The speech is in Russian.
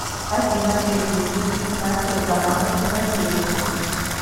афина переключить на телеканал киносерия